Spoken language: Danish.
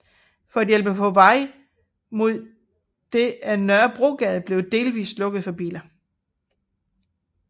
For at hjælpe på vej mod det er Nørrebrogade blevet delvist lukket for biler